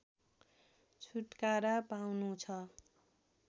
छुटकारा पाउनुछ